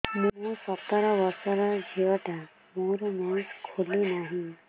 ମୁ ସତର ବର୍ଷର ଝିଅ ଟା ମୋର ମେନ୍ସେସ ଖୁଲି ନାହିଁ